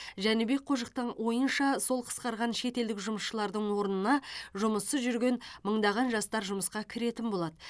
жәнібек қожықтың ойынша сол қысқарған шетелдік жұмысшылардың орнына жұмыссыз жүрген мыңдаған жастар жұмысқа кіретін болады